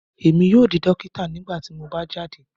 Emi yoo di dokita nigbati mo ba jade